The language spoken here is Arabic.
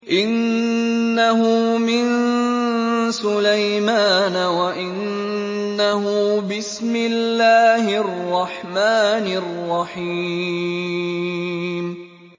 إِنَّهُ مِن سُلَيْمَانَ وَإِنَّهُ بِسْمِ اللَّهِ الرَّحْمَٰنِ الرَّحِيمِ